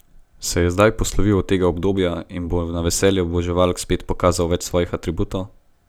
Se je zdaj poslovil od tega obdobja in bo na veselje oboževalk spet pokazal več svojih atributov?